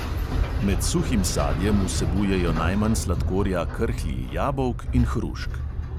Med suhim sadjem vsebujejo najmanj sladkorja krhlji jabolk in hrušk.